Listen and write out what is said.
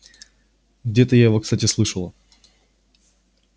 где-то я его кстати слышала